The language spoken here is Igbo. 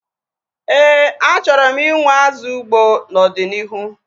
Éè, achọrọ m inwe azụ ugbo n'ọdịnihu